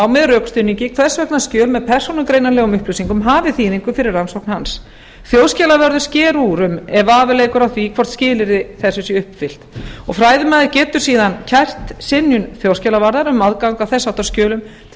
með rökstuðningi hvers vegna skjöl með persónugreinanlegum upplýsingum hafi þýðingu fyrir rannsókn hans þjóðskjalavörður sker úr um ef vafi leikur á því hvort skilyrði þessi séu uppfyllt fræðimaður getur síðan kært synjun þjóðskjalavarðar um aðgang að þess háttar skjölum til